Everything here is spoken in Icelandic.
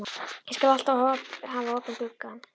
Ég skal alltaf hafa opinn gluggann.